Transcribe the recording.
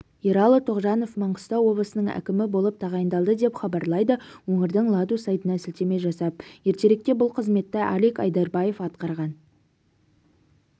ералы тоғжанов маңғыстау облысының әкімі болып тағайындалды деп хабарлайды өңірдің ладу сайтына сілтеме жасап ертеректе бұл қызметті алик айдарбаев атқарған